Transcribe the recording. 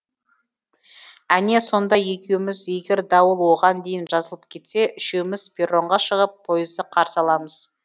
әне сонда екеуміз егер дауыл оған дейін жазылып кетсе үшеуіміз перронға шығып пойызды қарсы аламыз